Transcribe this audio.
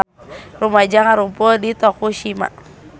Rumaja ngarumpul di Tokushima